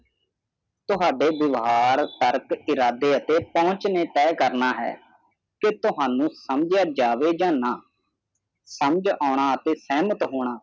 ਤੁਹਾਡੇ ਵਿਵਹਾਰ ਪਰਖ ਇਰਾਦੇ ਅਤੇ ਪਹੁੰਚ ਨੇ ਤਾਹਿ ਕਰਨਾ ਹੈ ਕਿ ਤੁਹਾਨੂੰ ਸਮਝਿਆਂ ਜਾਵੇ ਜਾ ਨਾ ਸਮਝ ਅਨਾ ਅਤੇ ਸ਼ਾਮਤ ਹੋਣਾ